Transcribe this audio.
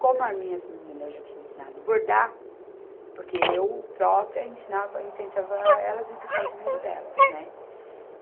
Como as minhas meninas eu já tinha ensinado bordar, porque eu própria ensinava, incentivava elas ir buscar o dinheiro delas, né?